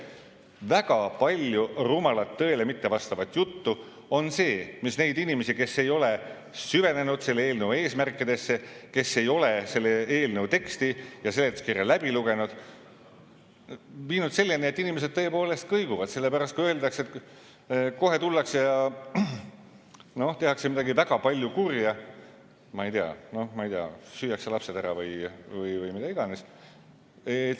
Väga palju rumalat, tõele mittevastavat juttu on ja see on need inimesed, kes ei ole süvenenud selle eelnõu eesmärkidesse, kes ei ole selle eelnõu teksti ja seletuskirja läbi lugenud, viinud selleni, et inimesed tõepoolest kõiguvad, sellepärast et öeldakse, et kohe tullakse ja tehakse midagi väga palju kurja, ma ei tea, süüakse lapsed ära või mida iganes.